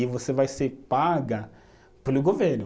E você vai ser paga pelo governo.